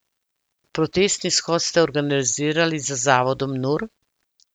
Protestni shod ste organizirali z zavodom Nur.